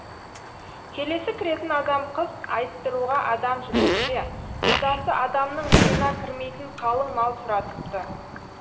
келесі кіретін адам қыз айттыруға адам жіберсе құдасы адамның миына кірмейтін қалың мал сұратыпты